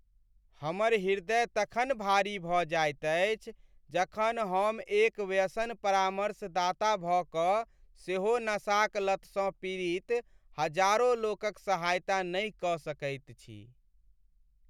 हमर हृदय तखन भारी भऽ जाइत अछि जखन हम एक व्यसन परामर्शदाता भऽ कऽ सेहो नशाक लतसँ पीड़ित हजारो लोकक सहायता नहि कऽ सकैत छी।